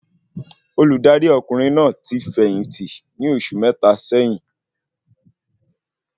Olùdarí ọkùnrin náà ti fẹ̀yìntì ní oṣù mẹta sẹ́yín